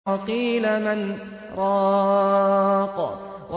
وَقِيلَ مَنْ ۜ رَاقٍ